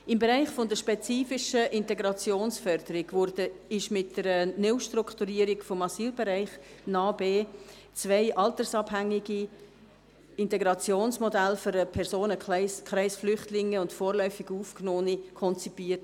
Im Bereich der spezifischen Integrationsförderung wurden mit der Neustrukturierung des Asylbereichs im Kanton Bern (NA-BE) zwei altersabhängige Integrationsmodelle für den Personenkreis Flüchtlinge und vorläufig Aufgenommene konzipiert.